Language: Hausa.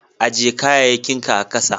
Ajie kayakin ka a'kasa.